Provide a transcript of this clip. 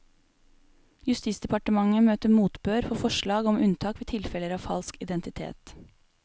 Justisdepartementet møter motbør for forslag om unntak ved tilfeller av falsk identitet.